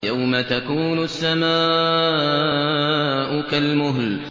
يَوْمَ تَكُونُ السَّمَاءُ كَالْمُهْلِ